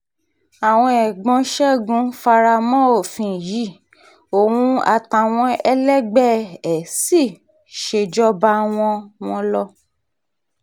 àwọn ẹ̀gbọ́n ṣẹ́gun fara mọ́ òfin yìí òun àtàwọn ẹlẹgbẹ́ ẹ̀ sì ṣèjọba wọn wọn lọ